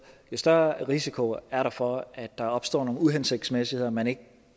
større risiko er der for at der opstår nogle uhensigtsmæssigheder man ikke